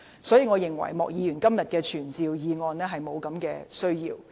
所以，我認為莫議員的傳召議案沒有需要。